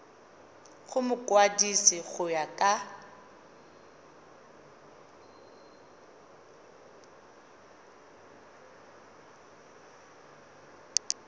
go mokwadise go ya ka